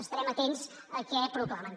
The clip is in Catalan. estarem atents a què proclamen